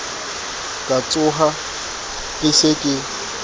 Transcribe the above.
ka tshoha ke se ke